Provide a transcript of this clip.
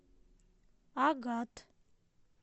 агат